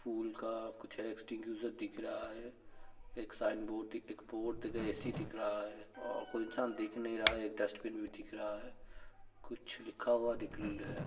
फूल का कुछ है। एक्सटिंगूशर दिख रहा है। एक साइन बोर्ड दिख एक बोर्ड तथा एसी दिख रहा है और कोई इंसान दिख नहीं रहा है। एक डस्टबिन भी दिख रहा है। कुछ लिखा हुआ दिखल है।